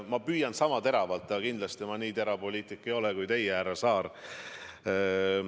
Ma püüan vastata sama teravalt, aga kindlasti ma nii terav poliitik ei ole kui teie, härra Saar.